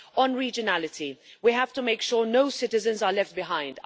On regionality, we have to make sure no citizens are left behind.